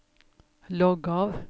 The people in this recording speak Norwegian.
logg av